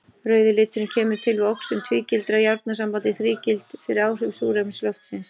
Rauði liturinn kemur til við oxun tvígildra járnsambanda í þrígild fyrir áhrif súrefnis loftsins.